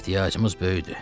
Ehtiyacımız böyükdür.